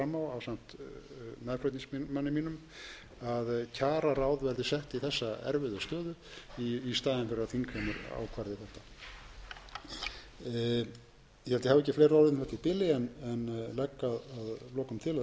mínum að kjararáð verði sett í þessa erfiðu stöðu í staðinn fyrir að þingheimur ákvarði þetta ég held að ég hafi ekki fleiri orð um þetta í bili en legg að lokum